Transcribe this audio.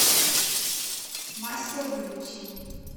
мастербьюти